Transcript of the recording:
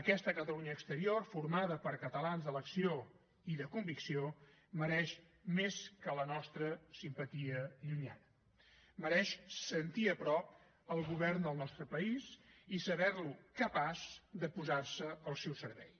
aquesta catalunya exterior formada per catalans d’elecció i de convicció mereix més que la nostra simpatia llunyana mereix sentir a prop el govern del nostre país i saber lo capaç de posar se al seu servei